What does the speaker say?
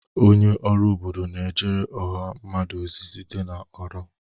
Onye ọrụ obodo na-ejere ọha mmadụ ozi site na ọrụ.